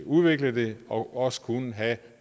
udvikle det og også kunne have